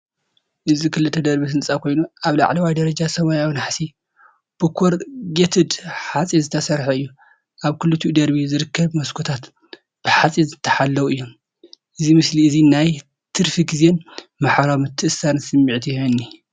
እዚ ክልተ ደርቢ ህንጻ ኮይኑ፡ ኣብ ላዕለዋይ ደረጃ ሰማያዊ ናሕሲ ብኮርጌትድ ሓጺን ዝተሰርሐ እዩ። ኣብ ክልቲኡ ደርቢ ዝርከቡ መስኮታት ብሓጺን ዝተሓለዉ እዮም። እዚ ምስሊ እዚ ናይ ትርፊ ግዜን ማሕበራዊ ምትእስሳርን ስምዒት ይህበኒ።